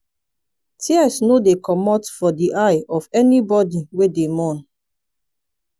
tears no dey comot for di eye of anybodi wey dey mourn.